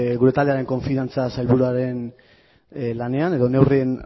gure taldearen konfidantza sailburuaren lanean edo neurrien